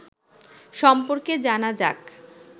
সম্পর্কে জানা যাক